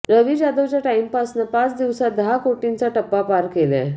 रवी जाधवच्या टाइमपासनं पाच दिवसातच दहा कोटींचा टप्पा पार केलाय